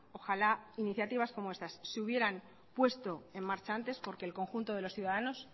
ojalá que iniciativas como estas se hubieran puesto en marcha antes porque el conjunto de los ciudadanos